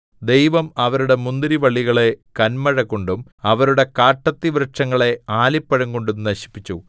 ദൈവം അവരുടെ മുന്തിരിവള്ളികളെ കന്മഴകൊണ്ടും അവരുടെ കാട്ടത്തിവൃക്ഷങ്ങളെ ആലിപ്പഴം കൊണ്ടും നശിപ്പിച്ചു